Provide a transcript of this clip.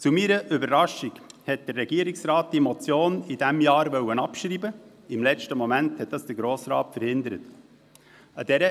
Zu meiner Überraschung wollte der Regierungsrat diese Motion in diesem Jahr abschreiben, was der Grosse Rat im letzten Moment verhindert hat.